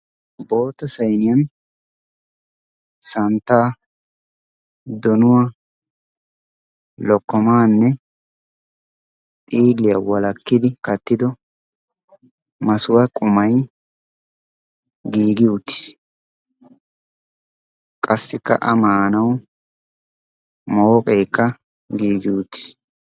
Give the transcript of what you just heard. Boota sayniyan santta donuwaa lokomaanne xiiliyaa walakkidi kattido masuwa qumay gigi uutiis. qassikka a maanawu mooqeekka giigi uutiis.